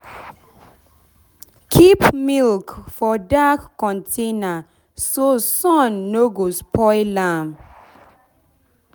keep milk for dark container so sun no go spoil am. spoil am.